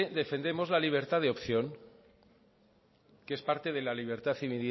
defendemos la libertad de opción que es parte de la libertad